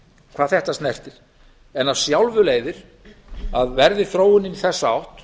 hvað þetta snertir af sjálfu leiðir að verði þróunin í þessa átt